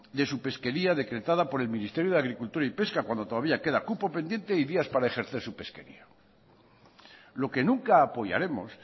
de su pesquería decretada por el ministerio de agricultura y pesca cuando todavía queda cupo pendiente y días para ejercer su pesquería lo que nunca apoyaremos